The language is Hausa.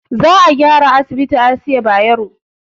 Za a gyara asibitin asiya bayero